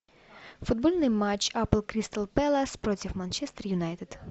футбольный матч апл кристал пэлас против манчестер юнайтед